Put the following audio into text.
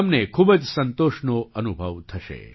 તમને ખૂબ જ સંતોષનો અનુભવ થશે